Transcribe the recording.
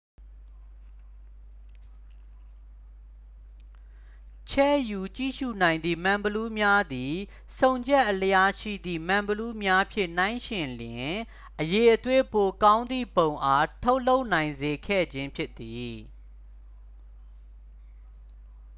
ချဲ့ယူကြည့်ရူနိုင်သည့် မှန်ဘီလူးများသည် ဆုံချက်အလျားရှိသည့် မှန်ဘီလူးများဖြင့် နှိုင်းယှဉ်လျှင် အရည်အသွေးပိုကောင်းသည့်ပုံအား ထုတ်လုပ်နိုင်စေခဲ့ခြင်းဖြစ်သည်